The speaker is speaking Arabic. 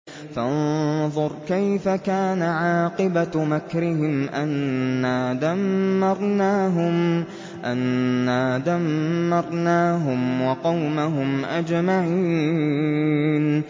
فَانظُرْ كَيْفَ كَانَ عَاقِبَةُ مَكْرِهِمْ أَنَّا دَمَّرْنَاهُمْ وَقَوْمَهُمْ أَجْمَعِينَ